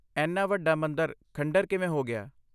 ਇੰਨਾ ਵੱਡਾ ਮੰਦਰ ਖੰਡਰ ਕਿਵੇਂ ਹੋ ਗਿਆ?